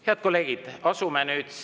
Head kolleegid, asume nüüd …